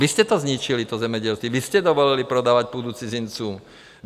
Vy jste to zničili, to zemědělství, vy jste dovolili prodávat půdu cizincům.